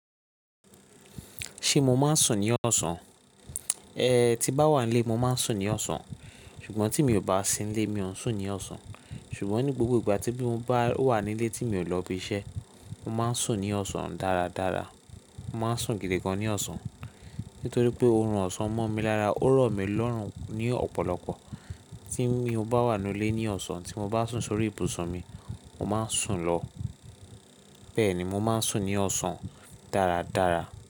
Ṣé mo máa ń sùn ní ọ̀sán? Ẹ ti ba wa n lé, mo máa ń sùn ní ọ̀sán. Ṣùgbọ́n tí mi ò bá sí n lé, mi ò n sùn ní ọ̀sán. Ṣùgbọ́n ní gbogbo ìgbà tí mo bá wà nílé tí mi ò lọ ibi iṣẹ́, mo máa ń sùn ní ọ̀sán dáradára. Mo máa ń sùn gidi gan ní ọ̀sán, nítorí pé oorun ọ̀sán mọ́ mi lára, ó rọ̀ mí lọ́rùn ní ọ̀pọ̀lọpọ̀. Tí mi o bá wà nu lé ní ọ̀sán tí mo bá sùn sórí ibùsùn mi, mo máa n sùn lọ. Bẹ́ẹ̀ ni, mo máa ń sùn ní ọ̀sán dáradára.